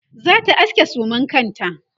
zata aske suman kanta